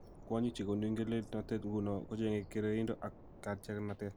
Kwonyik che konu ingelelnotet ingunon, kocheng'e kergeindo ak katyaknatet.